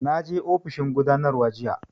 Na je ofishin gudanarwa jiya